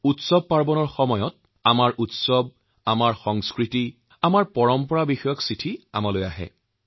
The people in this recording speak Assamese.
উৎসৱৰ বতৰত আমাৰ নানান উৎসৱ আমাৰ সংস্কৃতি আৰু পৰম্পৰা সন্দৰ্ভত অনেক চিঠি আহিছে